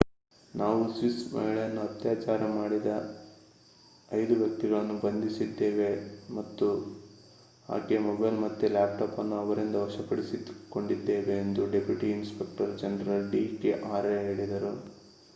ನಾವು ಸ್ವಿಸ್ ಮಹಿಳೆಯನ್ನು ಅತ್ಯಾಚಾರ ಮಾಡಿದ 5 ವ್ಯಕ್ತಿಗಳನ್ನು ಬಂಧಿಸಿದ್ದೇವೆ ಹಾಗೂ ಆಕೆಯ ಮೊಬೈಲ್ ಮತ್ತೆ ಲ್ಯಾಪ್‍‌ಟಾಪ್ ಅನ್ನು ಅವರಿಂದ ವಶಪಡಿಸಿಕೊಂಡಿದ್ದೇವೆ ಎಂದು deputy inspector general D K Arya ಹೇಳಿದರು